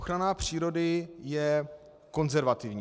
Ochrana přírody je konzervativní.